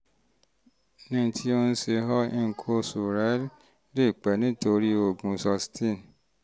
ní ti ohun tó ń ṣe ọ́ nǹkan oṣù rẹ lè pẹ́ nítorí lílo oògùn susten